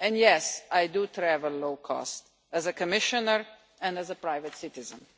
and yes I do travel low cost, as a Commissioner and as a private citizen.